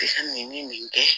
I ka nin nin kɛ